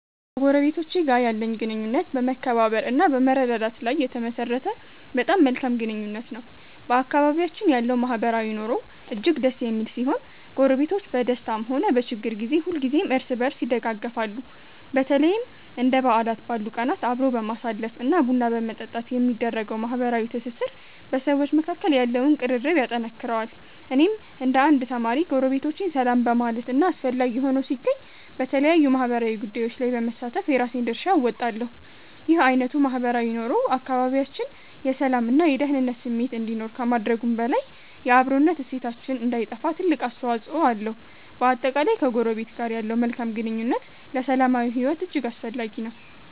ከጎረቤቶቼ ጋር ያለኝ ግንኙነት በመከባበር እና በመረዳዳት ላይ የተመሠረተ በጣም መልካም ግንኙነት ነው። በአካባቢያችን ያለው ማህበራዊ ኑሮ እጅግ ደስ የሚል ሲሆን፣ ጎረቤቶች በደስታም ሆነ በችግር ጊዜ ሁልጊዜም እርስ በርስ ይደጋገፋሉ። በተለይም እንደ በዓላት ባሉ ቀናት አብሮ በማሳለፍ እና ቡና በመጠጣት የሚደረገው ማህበራዊ ትስስር በሰዎች መካከል ያለውን ቅርርብ ያጠነክረዋል። እኔም እንደ አንድ ተማሪ፣ ጎረቤቶቼን ሰላም በማለት እና አስፈላጊ ሆኖ ሲገኝ በተለያዩ ማህበራዊ ጉዳዮች ላይ በመሳተፍ የራሴን ድርሻ እወጣለሁ። ይህ አይነቱ ማህበራዊ ኑሮ በአካባቢያችን የሰላም እና የደኅንነት ስሜት እንዲኖር ከማድረጉም በላይ፣ የአብሮነት እሴታችን እንዳይጠፋ ትልቅ አስተዋፅኦ አለው። በአጠቃላይ፣ ከጎረቤት ጋር ያለው መልካም ግንኙነት ለሰላማዊ ሕይወት እጅግ አስፈላጊ ነው።